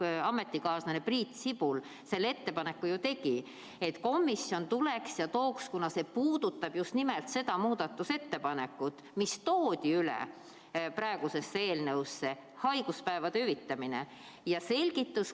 Hea ametikaaslane Priit Sibul ju tegi ettepaneku, et komisjon tooks, kuna see puudutab just nimelt seda muudatusettepanekut, mis toodi üle praegusesse eelnõusse, haiguspäevade hüvitamist.